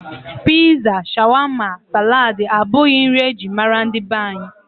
Piza, shawama, salad abụghị nri e ji mara ndị be anyị.